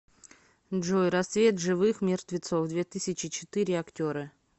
джой рассвет живых мертвецов две тысячи четы ре актеры